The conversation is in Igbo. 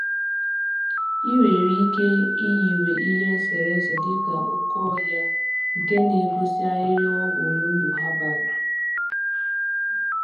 I nwere ike iyiwe ihe eserese dịka oke ọhịa nke na-egosi ahịhịa ọgwụ na uru ha bara